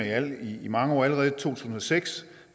i mange år allerede tusind og seks